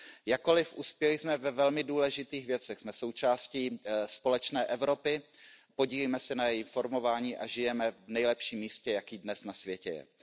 Jakkoliv uspěli jsme ve velmi důležitých věcech, jsme součástí společné Evropy, podílíme se na jejím formování a žijeme v nejlepším místě, jaké dnes na světě je.